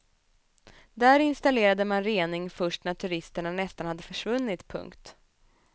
Där installerade man rening först när turisterna nästan hade försvunnit. punkt